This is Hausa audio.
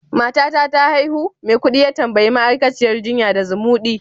matata ta haihu? Maikudi ya tambayi ma'aikaciyar jinya da zumudi